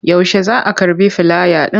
Yaushe za a karɓi filaya ɗin?